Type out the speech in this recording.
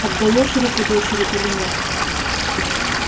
отдаёшь руку дочери или нет